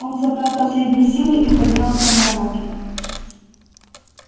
он собрал последние силы и поднялся на ноги